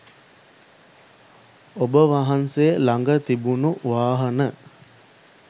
ඔබ වහන්සේ ළඟ තිබුණු වාහන